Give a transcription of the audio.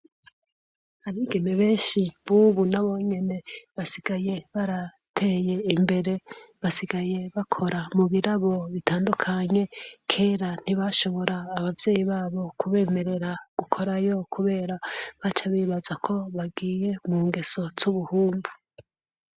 Abigeme benshi bubu nabonyene basigaye barateye Imbere, basigaye bakora mubirabo bitandukanye kera ntibashobora abavyeyi babo kubemerera gukorerayo baca bibazako bagiye mungeso zubuhumbu.